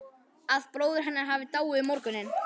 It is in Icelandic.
Að bróðir hennar hafi dáið um morguninn